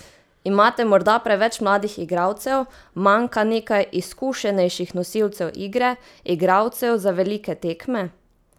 Imate morda preveč mladih igralcev, manjka nekaj izkušenejših nosilcev igre, igralcev za velike tekme?